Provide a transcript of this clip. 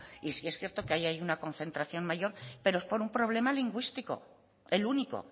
y sí es cierto que ahí hay una concentración mayor pero es por un problema lingüístico el único